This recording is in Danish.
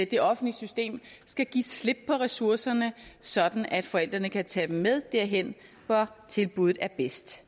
det offentlige system skal give slip på ressourcerne sådan at forældrene kan tage dem med derhen hvor tilbudet er bedst